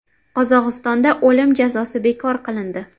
Qozog‘istonda o‘lim jazosi bekor qilindi.